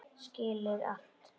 Skilur allt.